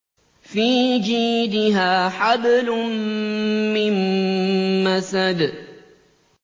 فِي جِيدِهَا حَبْلٌ مِّن مَّسَدٍ